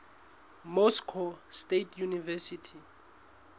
moscow state university